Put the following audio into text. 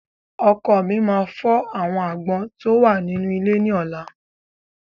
Ọkọ́ mi máa fọ́ àwọn agbọ́n tó wà nínú ilé ní ọ̀la.